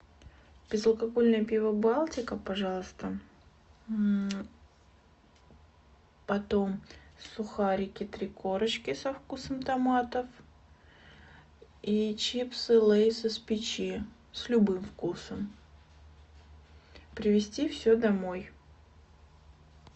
безалкогольное пиво балтика пожалуйста потом сухарики три корочки со вкусом томатов и чипсы лейс из печи с любым вкусом привезти все домой